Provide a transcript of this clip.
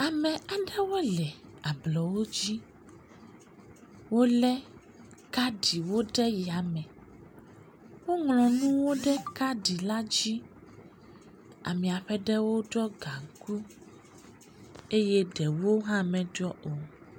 Ame aɖewo le ablɔwo dzi. Wolé kaɖiwo ɖe yame. Woŋlɔ nuwo ɖe kaɖaɖila dzi. Amea ƒe ɖewo ɖɔ gaŋku eye ɖewo hã meɖɔ o.